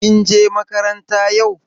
Kin je makaranta yau?